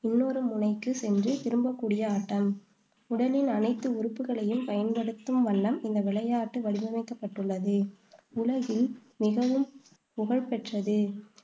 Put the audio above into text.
இன்னொரு முனைக்கு சென்று திரும்பக்கூடிய ஆட்டம். உடலின் அனைத்து உறுப்புக்களையும் பயன்படுத்தும் வண்ணம் இந்த விளையாட்டு வடிவமைக்கப்பட்டுள்ளது. உலகில் மிகவும் புகழ்பெற்றது